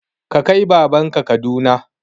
Ka kai baban ka Kaduna!